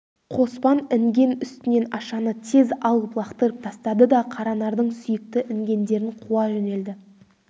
қоспан інген үстінен ашаны тез алып лақтырып тастады да қаранардың сүйікті інгендерін қуа жөнелді